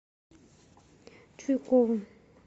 чуйкову